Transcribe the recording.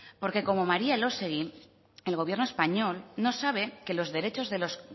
porque como maría elósegui el gobierno español no sabe que los derechos de los